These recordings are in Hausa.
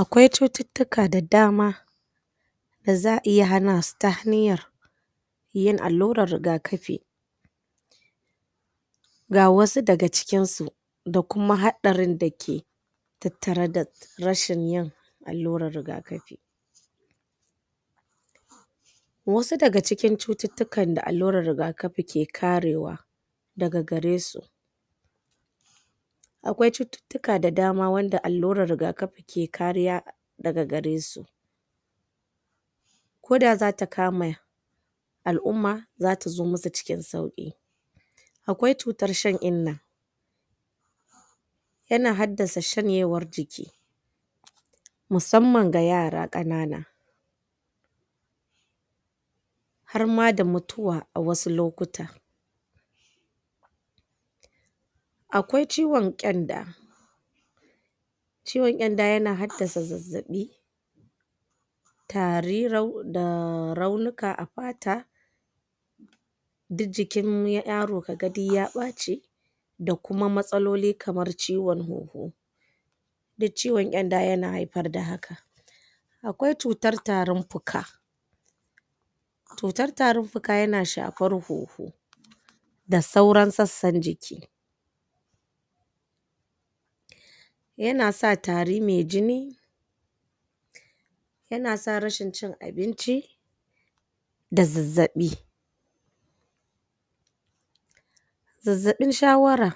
Akwai cututtuka da dama, da za'a iya hana su ta hanyar yin allurar rigakafi ga wasu daga cikin su, da kuma haɗarin da ke tattare da rashin yin allurar rigakafi. Wasu daga cikin cututtukan da allurar rigakafi ke karewa, daga garesu akwai cututtuka da dama wanda allurar rigakafi kekariya daga garesu, Ko da zata kama al'ummaza ta zo musu cikin sauki. Akwai cutar Shan'inna: Yana haddasa shanyewar jiki, musamman ga yara ƙanana, harma da mutuwa a wasu lokuta. Akwai ciwon Ƙyanda: ciwon ƙyanda yana haddasa zazzaɓi, tari, da raunuka a fata, duk jikin yaro kaga duk ya ɓace, da kuma matsaloli kamar ciwon hoho, Duk ciwon ƙyanda yana haifar da haka. Akwai cutar Tarin Fuka: Cutar tarin fuka yana shafara hoho, da sauran sassan jiki, yana sa tari mai jini, yana sa rashin cin abinci, da zazzaɓi. Zazzaɓin Shawara: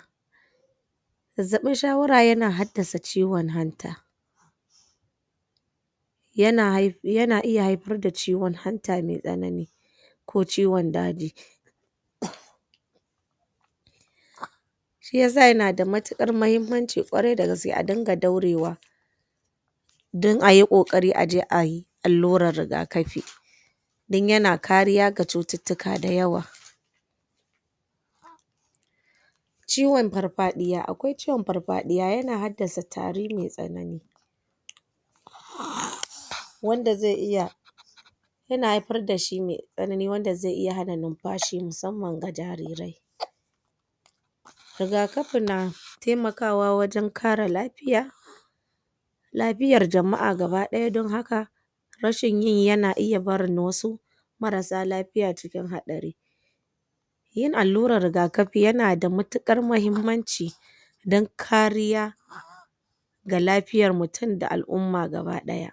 Zazzaɓin Shawara yana haddasa ciwon hanta, yana iya haifar da ciwon hanta mai tsanani ko ciwon daji. Shi yasa yana da matuƙar muhimmanci ƙwarai da gaske a riƙa daurewa don ayi ƙoƙari aje ayi allurar rigakafi, don yana kariya ga cututtuka da yawa. Ciwon Farfaɗiya: Akwai ciwon Farfaɗiya, yana haddasa tari mai tsanani, wanda zai iya yana haifar da shi mai tsanani wanda zai iya hana numfashi musamman ga jairirai. Rigakafi na wajen kare lafiya, lafiyar jama'a gaba ɗaya don haka, rashin yin yana iy barin wasu marasa lafiya cikin haɗari. Yin allurar rigakafi yana da matuƙar mahimmanci, don kariya ga lafiyar mutum da al'umma gaba ɗaya.